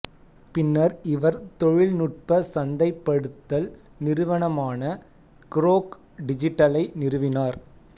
பின்னர் இவர் தொழில்நுட்ப சந்தைப்படுத்தல் நிறுவனமான க்ரோக் டிஜிட்டலை நிறுவினார்